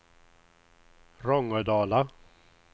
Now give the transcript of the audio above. Rångedala